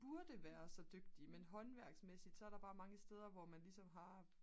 burde være så dygtig men håndværksmæssigt så er der bare mange steder hvor man ligesom har